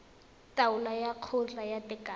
taolo ya kgotla ya tekano